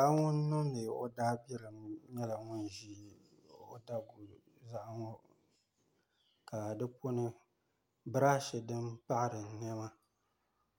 Paɣa ŋuni niŋdi o daa bilim yɛla ŋun zi o daguli ka di puni brashi dini paɣira nɛma